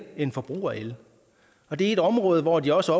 end forbrug af el og det er et område hvor de også